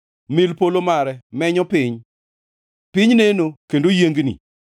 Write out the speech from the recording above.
Mil polo mare menyo piny; piny neno kendo yiengni.